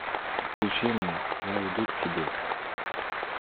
включи мне я иду к тебе